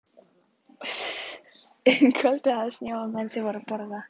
Um kvöldið hafði snjóað meðan þau voru að borða.